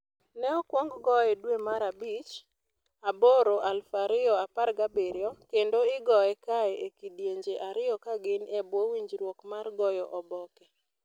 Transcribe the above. Ne okwong goye dwe mar bich 8, 2017, kendo igoye kae e kidienje ariyo ka gin e bwo winjruok mar goyo oboke.